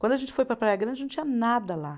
Quando a gente foi para a Praia Grande, não tinha nada lá.